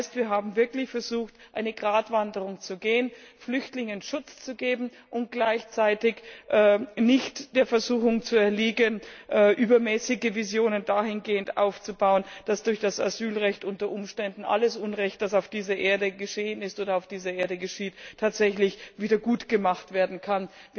Das heißt, wir haben wirklich versucht, eine Gratwanderung zu gehen, Flüchtlingen Schutz zu geben und gleichzeitig nicht der Versuchung zu erliegen, übermäßige Visionen dahingehend aufzubauen, dass durch das Asylrecht unter Umständen alles Unrecht, das auf dieser Erde geschehen ist oder geschieht, tatsächlich wieder gutgemacht werden kann.